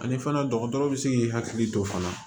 Ani fana dɔgɔtɔrɔ bɛ se k'i hakili to fana